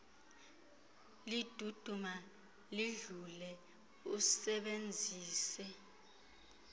liduduma lidlule usebenzise